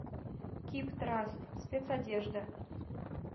кип траст спецодежда